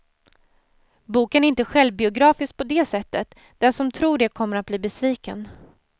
Boken är inte självbiografisk på det sättet, den som tror det kommer att bli besviken.